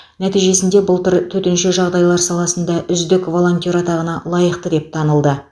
нәтижесінде былтыр төтенше жағдайлар саласында үздік волонтер атағына лайықты деп танылды